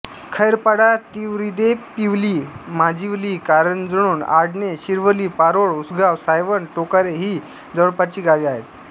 खैरपाडातिवरीदेपिवली माजिवली करंजोणआडणे शिरवली पारोळ उसगाव सायवन टोकारे ही जवळपासची गावे आहेत